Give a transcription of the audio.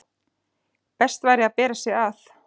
best væri að bera sig að.